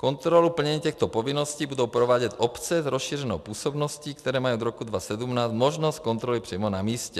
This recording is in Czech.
Kontrolu plnění těchto povinností budou provádět obce s rozšířenou působností, které mají od roku 2017 možnost kontroly přímo na místě.